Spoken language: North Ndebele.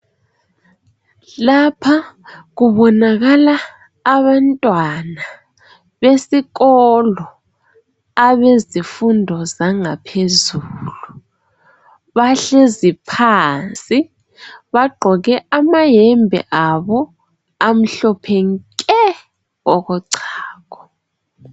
Lapha kubonakala abantwana besikolo abezifundo zangaphezulu. Bahlezi phansi bagqoke amayembe abo amhlophe nke okochago.